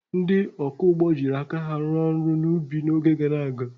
Ndị ọkụ ugbo jiri aka ha rụọ ọrụ n'ubi n'oge gara aga.